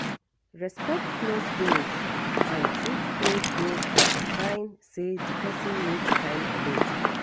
Respect closed doors and treat closed doors as a sign sey di person need time alone